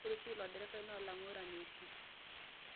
ore oshi ilo derevai na olang'urani oshi